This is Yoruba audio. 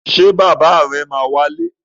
Ṣé bàbá rẹ̀ ma tó wálé?